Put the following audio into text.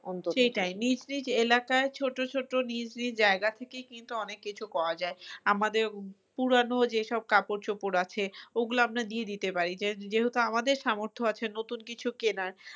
সেটাই নিজ নিজ এলাকায় ছোট ছোট নিজ নিজ জায়গা থেকে কিন্তু অনেক কিছু করা যায় আমাদের পুরানো যেসব কাপড়চোপড় আছে ওগুলো আমরা গিয়ে দিতে পারি যে যেহেতু আমাদের সামর্থ্য আছে নতুন কিছু কেনার